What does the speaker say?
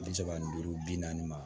Bi saba ni duuru bi naani ma